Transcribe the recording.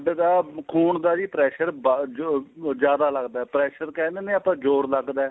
ਦਾ ਖੂਨ ਦਾ ਜੀ pressure ਜੋ ਜਿਆਦਾ ਲੱਗਦਾ ਏ pressure ਕਹਿ ਲੈਂਦੇ ਆਪਾਂ ਜ਼ੋਰ ਲੱਗਦਾ